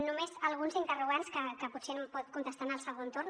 només alguns interrogants que potser em pot contestar en el segon torn